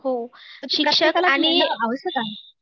हो, शिक्षक आणि